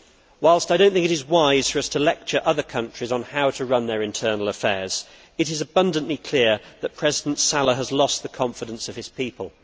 Whilst I do not think it is wise for us to lecture other countries on how to run their internal affairs, it is abundantly clear that President Saleh has lost the confidence of his people.